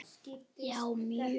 Já, mjög.